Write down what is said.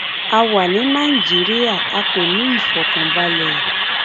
a wà ní nàìjíríà a kò ní ìfọkànbalẹ